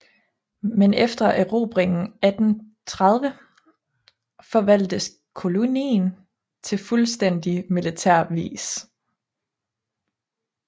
Men efter erobringen 1830 forvaltedes kolonien på fuldstændig militær vis